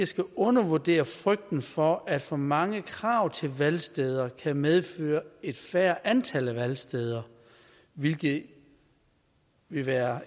skal undervurdere frygten for at for mange krav til valgsteder kan medføre et færre antal af valgsteder hvilket ville være